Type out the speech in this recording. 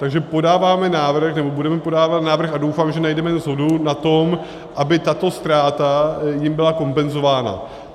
Takže podáváme návrh, nebo budeme podávat návrh - a doufám, že najdeme shodu na tom, aby tato ztráta jim byla kompenzována.